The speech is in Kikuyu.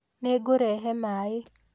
Nĩ ngũkũrehe maaĩ.